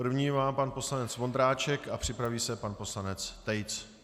První má pan poslanec Vondráček a připraví se pan poslanec Tejc.